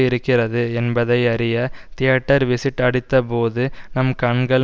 இருக்கிறது என்பதையறிய theatre visit அடித்தபோது நம் கண்கள்